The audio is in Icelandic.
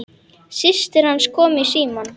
Systir hans kom í símann.